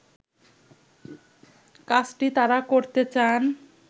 কাজটি তারা করতে চান